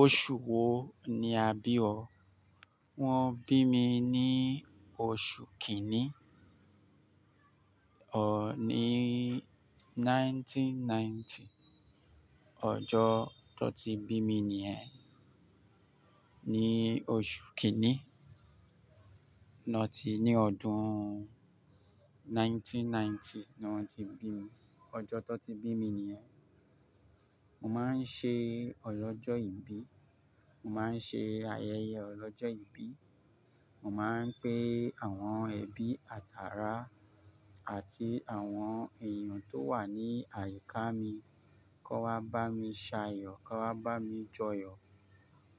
Oṣu wo ni a bi ọ? Wọn bi mi ni oṣu kini, ọ ni 1990. Ọjọ to ti bi mi ni ẹ, ni oṣu kini, ni ọdun 1990 ni wọn ti bi mi. Ọjọ to ti bi mi ni ẹ. Mo ma n ṣe ọlọ́jọ̀ ìbí, mo ma n ṣe ayẹyẹ ọlọ́jọ̀ ìbí, mo ma n pe àwọn ẹbi, àtàrá àti àwọn èèyàn tó wà ní àyíká mi, ko wá bá mi sayọ, ko wá bá mi joyọ